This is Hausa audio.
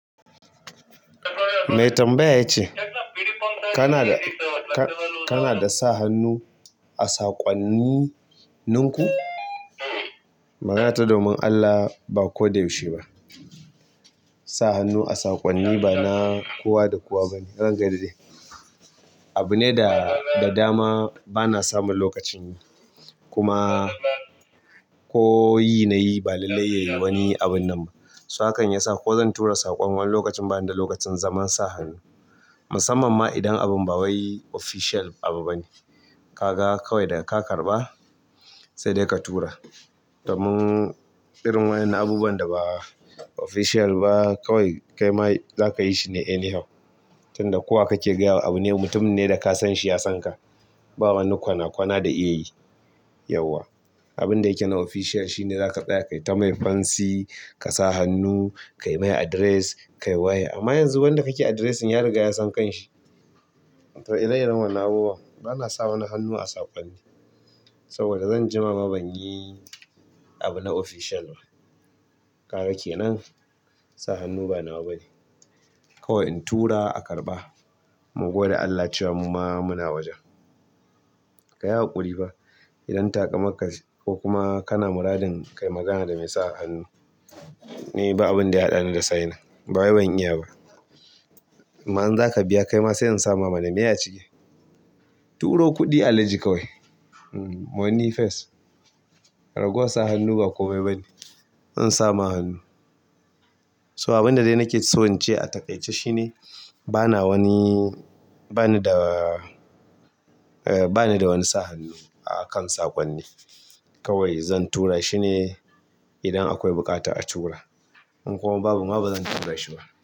Mai tambaya ya ce, kana da "Kana da sa hannu a saƙwanni n ku?" magana ta domin Allah, ba ko da yaushe ba. Sa hannu a saƙonni ba na kowa da kowa ba ne. Ranka ya daɗe. Abu ne da dama bana samun lokacin yi, kuma ko yi na yi, ba lallai ya yi wani abun nan ba. Sa kan ya sa ko zan tura saƙon nan lokacin ba dan da lokacin zaman sa hannu. Musamman ma idan abun ba wai official abu ba ne. Ka ga kawai daga ka karɓa, sai dai ka tura. Domin irin waƴannan abubuwan da ba official ba, kawai kaima za ka yi shi ne anyhow. Tunda kowa kake gaya wa abu ne, mutumin ne da ka san shi ya san ka. Ba wani kwana kwana da iya yi yauwa. Abinda yake na official shine za ka tsaya kai ta mai fansi, ka sa hannu, kai mai address, ka yi waya. Amma yanzu wanda kake addressing ya riga ya san kan shi. To ire iren wannan abubuwan, bana sa wani hannu a saƙonni saboda zan jima ma banyi abu na official ba kaga kenan, sa hannu ba nawa bane. Kawai in tura aka karɓa, mu gode Allah cewa muma muna wajen. Ka yi haƙuri fa. Idan taƙamarka ce ko kuma kana muradin ka yi magana da mai sa hannu, ni ba abin da ya haɗani da signing, ba wai ban iya ba. Amma in za ka biya, kaima sai in sama mana miye a cike. Turo kuɗi a laji kawai. Money face. Raguwa sa hannu ba komai bane. In samu hannu. So abinda dai nake so in ce a taƙaice shine, bana wani, bana da, eh bana da wani sa hannu a kan saƙonni. Kawai zan tura shi ne idan akwai buƙatar a tura. In kuma babu, ma ba zan tura shi ba.